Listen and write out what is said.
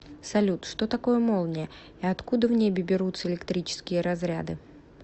салют что такое молния и откуда в небе берутся электрические разряды